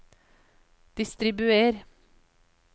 distribuer